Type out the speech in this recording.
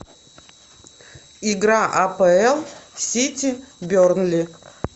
игра апл сити бернли